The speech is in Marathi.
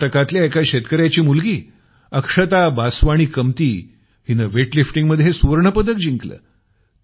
कर्नाटकातल्या एका शेतकर्याची मुलगी अक्षता बासवाणी कमती हिनं वेटलिफ्टिंगमध्ये सुवर्ण पदक जिकलं